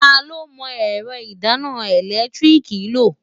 Ta ló mọ ẹ̀rọ ìdáná ẹ̀lẹ́tíríìkì lò?